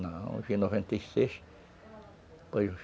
Não, eu vim em noventa e seis, foi